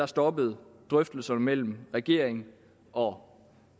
stoppede drøftelserne mellem regeringen og